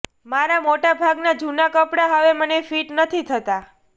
મારા મોટાભાગના જૂના કપડાં હવે મને ફિટ નથી થતાં